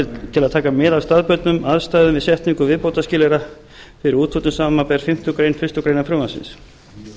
til að taka mið af staðbundnum aðstæðum við setningu viðbótarskilyrða fyrir úthlutun samanber fimmtu málsgrein fyrstu grein frumvarpsins